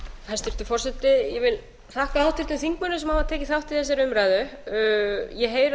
forseti ég vil þakka háttvirtum þingmönnum sem hafa tekið þátt í þessari umræðu ég heyri að